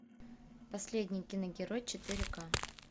последний киногерой четыре ка